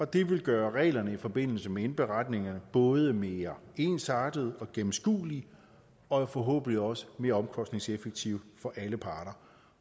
det vil gøre reglerne i forbindelse med indberetningerne både mere ensartede og gennemskuelige og forhåbentlig også mere omkostningseffektive for alle parter